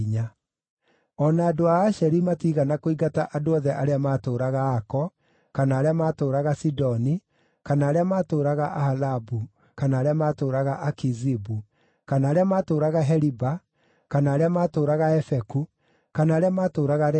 O na andũ a Asheri matiigana kũingata andũ othe arĩa maatũũraga Ako, kana arĩa matũũraga Sidoni, kana arĩa maatũũraga Ahalabu, kana arĩa maatũũraga Akizibu, kana arĩa maatũũraga Heliba, kana arĩa maatũũraga Afeku, kana arĩa maatũũraga Rehobu,